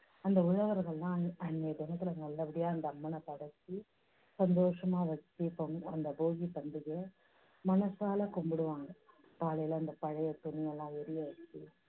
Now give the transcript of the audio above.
அந்த உழவர்களெல்லாம் அன்~ அன்னிய தினத்துல நல்லபடியா அந்த அம்மனை படைச்சி, சந்தோஷமா வெச்சு பொ~ அந்த போகி பண்டிகையை மனசால கும்பிடுவாங்க. காலையில அந்த பழைய துணியெல்லாம் எரிய வெச்சு